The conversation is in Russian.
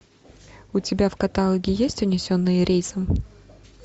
у тебя в каталоге есть унесенные рейсом